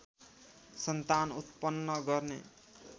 सन्तान उत्पन्न गर्ने